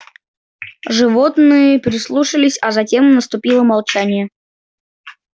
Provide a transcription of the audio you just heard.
животные прислушались а затем наступило молчание